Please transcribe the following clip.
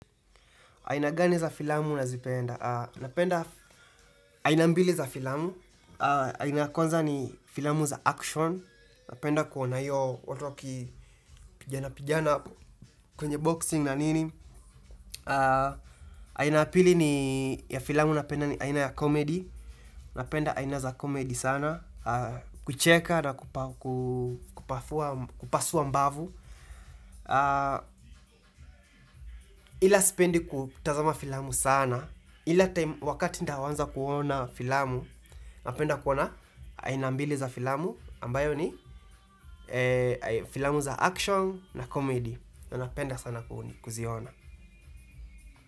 Aina gani za filamu nazipenda? Napenda aina mbili za filamu, aina ya kwanza ni filamu za action, napenda kuona hiyo watu wakipiganapigana kwenye boxing na nini. Aina ya pili ni ya filamu napenda ni aina ya comedy, napenda aina za comedy sana, kucheka na kupafua, kupasua mbavu. Ila sipendi kutazama filamu sana, ila time wakati nitaanza kuona filamu, napenda kuona aina mbili za filamu, ambayo ni filamu za action na comedy. Napenda sana kuziona.